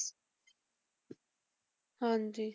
ਹਾਂਜੀ